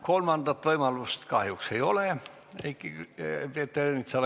Kolmandat võimalust Peeter Ernitsal kahjuks ei ole.